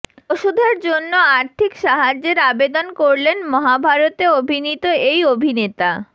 ওষুধের জন্য আর্থিক সাহায্যের আবেদন করলেন মহাভারতে অভিনীত এই অভিনেতা